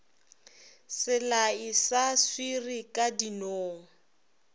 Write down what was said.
selae sa swiri ka dinong